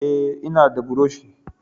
Ae, ina da burushi